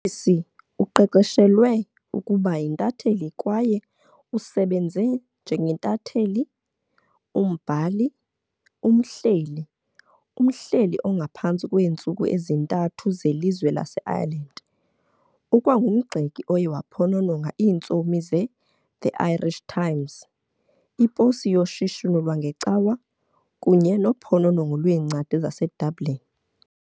Morrissy uqeqeshelwe ukuba yintatheli kwaye usebenze njengentatheli - umbhali - umhleli - umhleli ongaphantsi kweentsuku ezintathu zelizwe laseIreland. Ukwangumgxeki oye waphonononga iintsomi zeThe "Irish Times", "iPosi yoShishino lwangeCawa", kunye "noPhononongo lweencwadi zaseDublin".